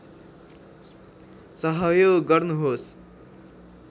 सहयोग गर्नुहोस्